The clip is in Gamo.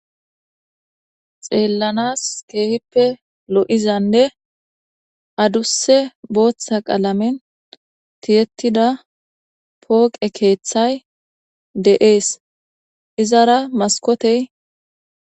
xeellanas keehippe lo7izanne adusse booththa qalamen tiyettida pooqe keeththay de7ees izara maskotey